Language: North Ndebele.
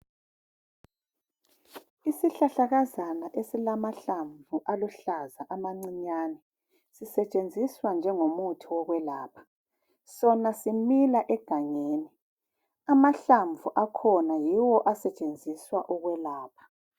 Yisihlahlakazana esilamahlamvu aluhlaza amancinyane. Sisetshenziswa njengomuthi wokwelapha. Sona simila egangeni. Amahlamvu akhona yiwo asetshenziswa ukwelapha.